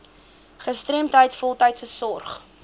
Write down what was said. gestremdheid voltydse sorg